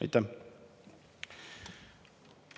Aitäh!